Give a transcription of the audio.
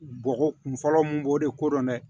Bɔgɔ kun fɔlɔ mun b'o de ko dɔn dɛ